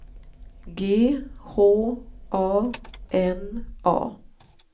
G H A N A